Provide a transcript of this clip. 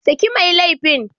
Saki mai laifin.